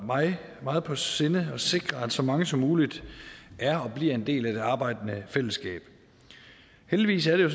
mig meget på sinde at sikre at så mange som muligt er og bliver en del af det arbejdende fællesskab heldigvis er jo